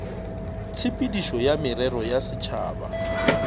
tshepedišo ya merero ya setšhaba